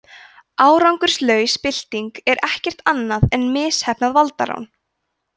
árangurslaus bylting er ekkert annað en misheppnað valdarán